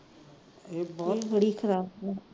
ਇਹ ਬਹੁਤ ਬੁੜੀ ਆ